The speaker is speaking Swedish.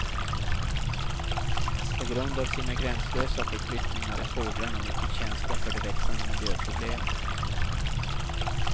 På grund av sina gränslösa förflyttningar är fåglarna mycket känsliga för de växande miljöproblemen.